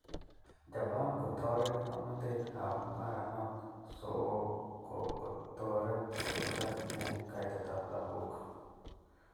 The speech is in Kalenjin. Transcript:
Japan kotoret ngomnotet ab mogornatet so kotoret kotesak eng kaitet ab lagok